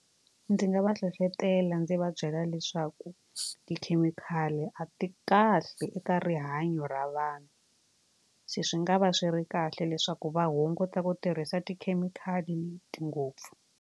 Ndzi nga va hlohletela ndzi va byela leswaku tikhemikhali a ti kahle eka rihanyo ra vanhu se swi nga va swi ri kahle leswaku va hunguta ku tirhisa tikhemikhali ngopfu.